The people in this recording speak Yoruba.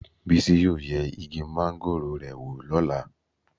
Bísí yóò yẹ igi máńgòrò rẹ̀ wò lọ́la.